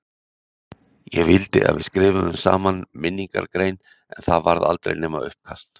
Ég vildi að við skrifuðum saman minningargrein en það varð aldrei nema uppkast.